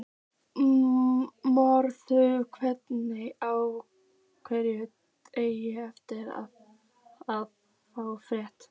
Maður vonast á hverjum degi eftir að fá fréttir.